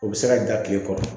O bɛ se ka ja tile kɔrɔ